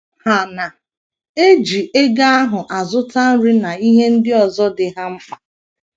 Ha na - eji ego ahụ azụta nri na ihe ndị ọzọ dị ha mkpa.